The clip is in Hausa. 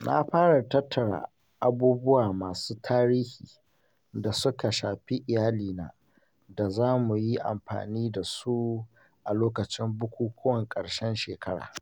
Na fara tattara abubuwa masu tarihi da suka shafi iyalina da za mu yi amfani da su a lokacin bukukuwan ƙarshen shekara.